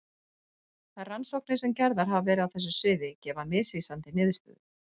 Þær rannsóknir sem gerðar hafa verið á þessu sviði gefa misvísandi niðurstöður.